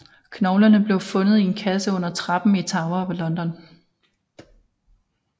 Knoglerne blev fundet i en kasse under trappen i Tower of London